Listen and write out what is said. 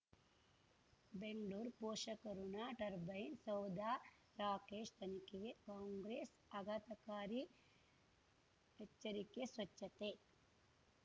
ಬೆಂಗ್ಳೂರ್ ಪೋಷಕಋಣ ಟರ್ಬೈನು ಸೌಧ ರಾಕೇಶ್ ತನಿಖೆಗೆ ಕಾಂಗ್ರೆಸ್ ಆಘಾತಕಾರಿ ಎಚ್ಚರಿಕೆ ಸ್ವಚ್ಛತೆ